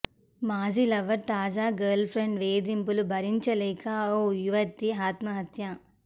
మాజీ లవర్ తాజా girlfriend వేధింపులు భరించలేక ఓ యువతి ఆత్మహత్య